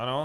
Ano.